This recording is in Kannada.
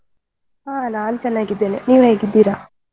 ಹಾ ನಾನ್ ಚೆನ್ನಾಗಿದ್ದೇನೆ, ನೀವ್ ಹೇಗಿದ್ದೀರಾ?